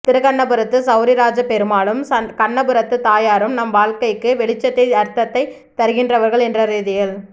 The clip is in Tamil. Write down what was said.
திருக்கண்ணபுரத்து செளரிராஜப் பெருமாளும் கண்ணபுரத்து தாயாரும் நம் வாழ்க்கைக்கு வெளிச்சத்தை அர்த்தத்தை தருகிறவர்கள் என்ற ரீதியில்